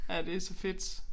Ja det så fedt